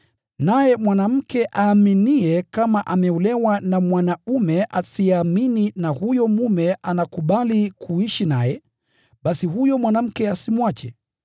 Naye mwanamke aaminiye kama ameolewa na mwanaume asiyeamini na huyo mume anakubali kuishi naye, basi huyo mwanamke asimwache.